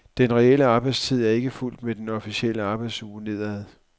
Den reelle arbejdstid er ikke fulgt med den officielle arbejdsuge nedad.